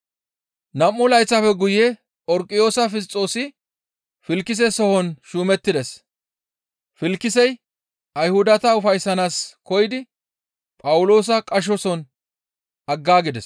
Nam7u layththafe guye Phorqiyoosa Fisxoosi Filkise sohon shuumettides; Filkisey Ayhudata ufayssanaas koyidi Phawuloosa qashoson aggaagides.